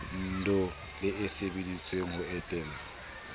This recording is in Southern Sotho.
ndoh le etseditswe ho etella